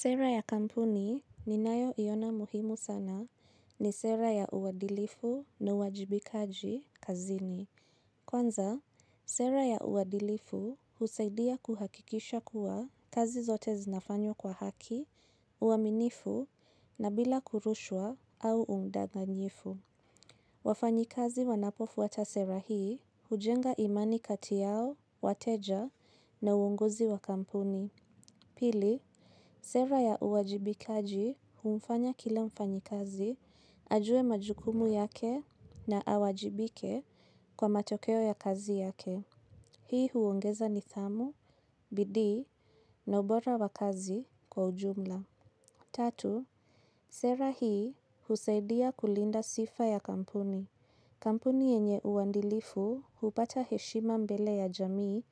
Sera ya kampuni ninayoiona muhimu sana ni sera ya uwadilifu na uwajibikaji kazini. Kwanza, sera ya uwadilifu husaidia kuhakikisha kuwa kazi zote zinafanywa kwa haki, uaminifu na bila kurushwa au udanganyifu. Wafanyikazi wanapofuata sera hii hujenga imani kati yao, wateja na uongozi wa kampuni. Pili, sera ya uwajibikaji humfanya kila mfanyikazi, ajuwe majukumu yake na awajibike kwa matokeo ya kazi yake. Hii huongeza nidhamu, bidii na ubora wa kazi kwa ujumla. Tatu, sera hii husaidia kulinda sifa ya kampuni. Kampuni yenye uwadilifu hupata heshima mbele ya jamii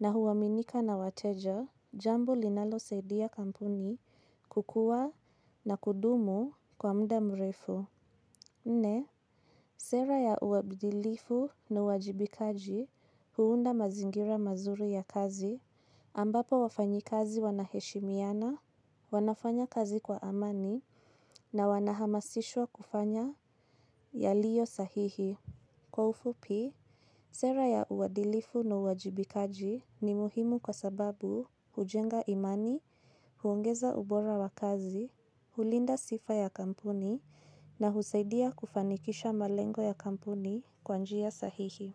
na huaminika na wateja, jambo linalosaidia kampuni kukua na kudumu kwa muda mrefu. Nne, sera ya uwadilifu na uwajibikaji huunda mazingira mazuri ya kazi ambapo wafanyikazi wanaheshimiana, wanafanya kazi kwa amani na wanahamasishwa kufanya yaliyo sahihi. Kwa ufupi, sera ya uwadilifu na uwajibikaji ni muhimu kwa sababu hujenga imani, huongeza ubora wa kazi, hulinda sifa ya kampuni na husaidia kufanikisha malengo ya kampuni kwa njia sahihi.